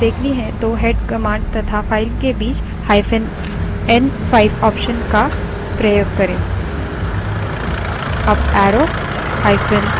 यदि हमें पहली पाँच lines देखनी हैं तो head command तथा file के बीचn5 option का प्रयोग करें